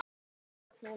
Hann lá eins og slytti.